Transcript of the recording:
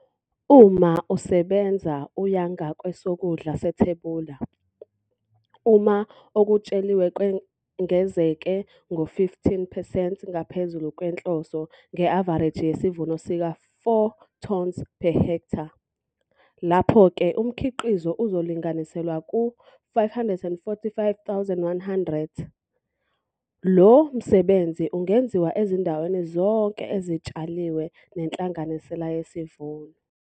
Uma usebenza uya ngakwesokudla sethebula, uma okutsheliwe kwengezeke ngo-15 percent ngaphezulu kwenhloso, nge-avareji yesivuno sika-4 tons per ha, lapho ke umkhiqizo uzolinganiselwa ku-545 100. Lo msebenzi ungenziwa ezindaweni zonke ezitshaliwe nenhlanganisela yesivuno.